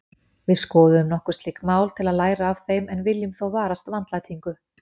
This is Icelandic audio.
Við skoðum nokkur slík mál til að læra af þeim en viljum þó varast vandlætingu.